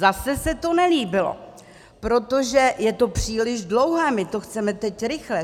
Zase se to nelíbilo, protože je to příliš dlouhé, my to chceme teď rychle.